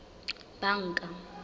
banka